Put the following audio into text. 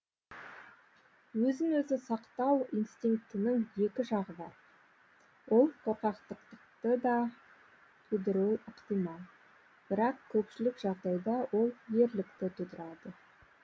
өзін өзі сақтау инстинктінің екі жағы бар ол қорқақтықты да тудыруы ықтимал бірақ көпшілік жағдайда ол ерлікті тудырады